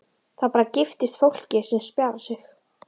Það bara giftist fólki sem spjarar sig.